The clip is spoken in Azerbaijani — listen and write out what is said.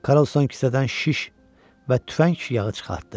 Karlson kisədən şiş və tüfəng yağı çıxartdı.